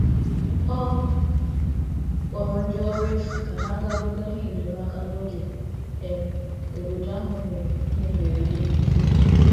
Ọ kpọrọ ndị ọrụ efu ka ha ga buga ihe enyemaka n'oge um obodo ahụ nwere ihe mberede n'ike.